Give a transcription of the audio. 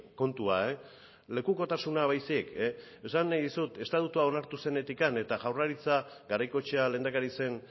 kontua lekukotasuna baizik esan nahi dizut estatutua onartu zenetik eta jaurlaritza garaikoetxea lehendakari zen